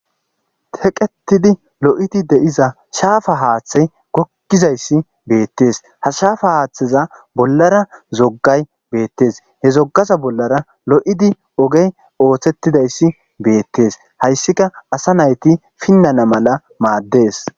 teqetidi lo7iti de7iza shaafa haaththey gokkizayssi beettees ha shaafa haaththeza bollara zoggay beettes he zoggaza bollara lo7idi ogey ooththettidayssi beettees hayssika asa nayti pinnana mala maaddees